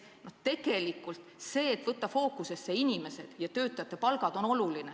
Tegelikult on oluline, et võetaks fookusesse inimesed ja töötajate palgad.